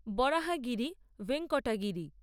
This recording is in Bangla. বরাহাগিরি ভেঙ্কটাগিরি